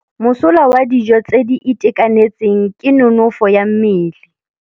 Mosola wa dijô tse di itekanetseng ke nonôfô ya mmele.